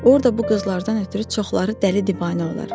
Orda bu qızlardan ötrü çoxları dəli divanə olar.